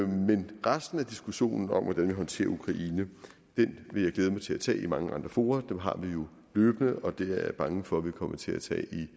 men resten af diskussionen om hvordan vi håndterer ukraine vil jeg glæde mig til at tage i mange andre fora den har vi jo løbende og den er jeg bange for vi vil komme til at tage et